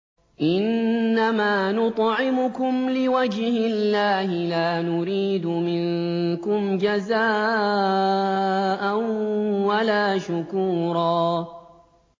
إِنَّمَا نُطْعِمُكُمْ لِوَجْهِ اللَّهِ لَا نُرِيدُ مِنكُمْ جَزَاءً وَلَا شُكُورًا